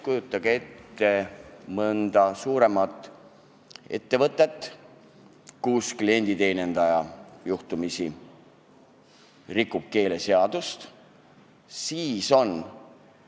Kujutage ette mõnda suuremat ettevõtet, kus klienditeenindaja juhtumisi rikub keeleseadust!